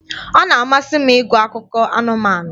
Ọ na-amasị m ịgụ akụkọ anụmanụ